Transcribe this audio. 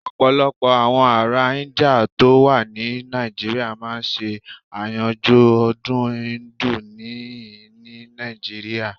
Ọ̀pọ̀lọpọ̀ àwọn ará Íńdíà tó wà ní Nàìjíríà máa ń ṣe àyájọ́ ọdún Íńdù níhìn-ín ní Nàìjíríà.